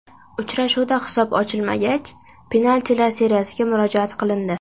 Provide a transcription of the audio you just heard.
Uchrashuvda hisob ochilmagach, penaltilar seriyasiga murojaat qilindi.